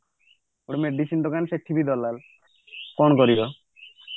medicine ଦୋକାନ ସେଠି ବି ଦଲାଲ କଣ କରିବା